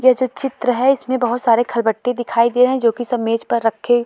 ये जो चित्र है इसमें बहोत सारे खल बट्टे दिखाई दे रहे हैं जो कि सब मेज पर रखे --